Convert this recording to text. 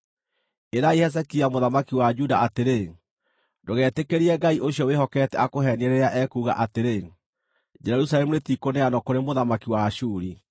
“Ĩrai Hezekia mũthamaki wa Juda atĩrĩ: Ndũgetĩkĩrie Ngai ũcio wĩhokete akũheenie rĩrĩa ekuuga atĩrĩ, ‘Jerusalemu rĩtikũneanwo kũrĩ mũthamaki wa Ashuri.’